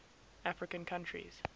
african countries